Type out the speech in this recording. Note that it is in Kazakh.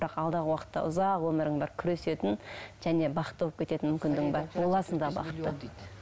бірақ алдағы уақытта ұзақ өмірің бар күресетін және бақытты болып кететін мүмкіндігің бар боласың да бақытты